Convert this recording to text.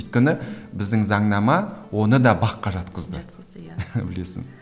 өйткені біздің заңнама оны да бақ қа жатқызды жатқызды иә білесің